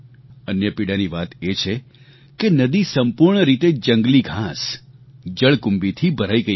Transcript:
અન્ય પીડાની વાત એ છે કે નદી સંપૂર્ણ રીતે જંગલી ઘાંસ જળકુંભીથી ભરાઈ ગઈ હતી